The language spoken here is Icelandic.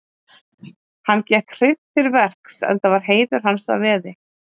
Hann gekk hreint til verks enda var heiður hans í veði.